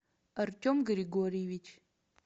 артем григорьевич